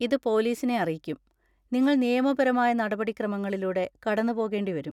ഇത് പോലീസിനെ അറിയിക്കും, നിങ്ങൾ നിയമപരമായ നടപടിക്രമങ്ങളിലൂടെ കടന്നുപോകേണ്ടിവരും.